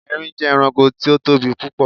Erin jé̩ e̩ranko tí ó tóbi púpò̩.